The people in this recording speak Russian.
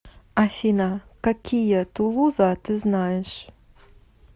афина какие тулуза ты знаешь